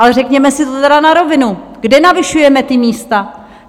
Ale řekněme si to teda na rovinu, kde navyšujeme ta místa?